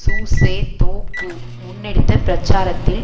சுசேதொகூ முன்னெடுத்த பிரச்சாரத்தில்